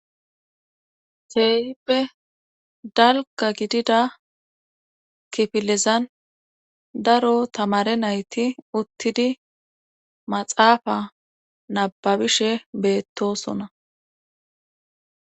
Ceeyippe dalka gidida kifilezan daro tamare nayti uttidi maxaafa nababishe beettosona